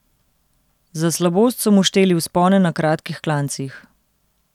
Za slabost so mu šteli vzpone na kratkih klancih.